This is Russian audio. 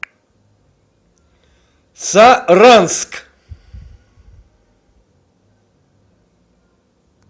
саранск